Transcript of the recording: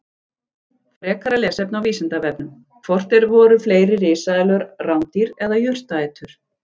Frekara lesefni á Vísindavefnum: Hvort voru fleiri risaeðlur rándýr eða jurtaætur?